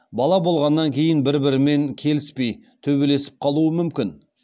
бала болғаннан кейін бір бірімен келіспей төбелесіп қалуы мүмкін